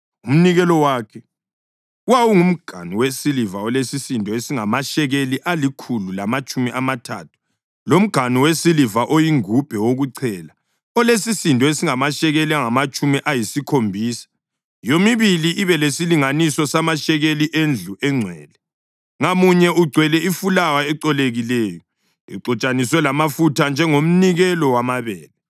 Umnikelo wakhe: wawungumganu wesiliva olesisindo esingamashekeli alikhulu lamatshumi amathathu, lomganu wesiliva oyingubhe wokuchela olesisindo esingamashekeli angamatshumi ayisikhombisa, yomibili ibe lesilinganiso samashekeli endlu engcwele, ngamunye ugcwele ifulawa ecolekileyo exutshaniswe lamafutha njengomnikelo wamabele;